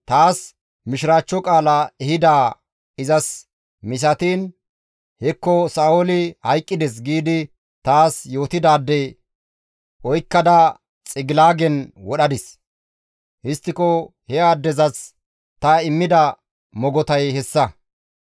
taas mishiraachcho qaala ehidaa izas misatiin, ‹Hekko Sa7ooli hayqqides› giidi taas yootidaade oykkada Xigilaagen wodhadis. Histtiko he addezas ta immida mogotay hessa.